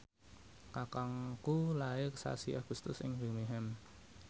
kakangku lair sasi Agustus ing Birmingham